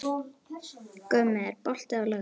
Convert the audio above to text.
Gummi, er bolti á laugardaginn?